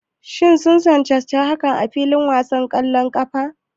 Shin sun cancanci hakan a filin wasan ƙwallon ƙafa?